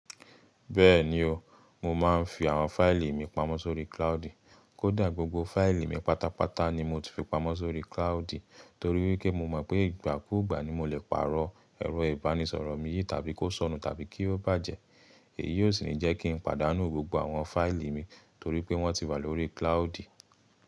Bẹ́ẹ̀ni o, mo máa ń fi àwọn fìlì mi pamọ́ sórí cloudi. Kódà gbogbo fáìlì mi pátápátá ni mo ti fi pamọ́ sórí cloudi torí pé mo mọ̀ pé ìgbàkúgbà ni mo lè pàrọ̀ ẹ̀rọ ìbánisọ̀rọ̀ mi yìí tàbí kó sọnù tàbí kí ó bàjẹ́. Èyí ó sì ń jẹ́ kí n pàdánù gbogbo àwọn fáìlì mi torí pé wọ́n ti wà lórí cloudi.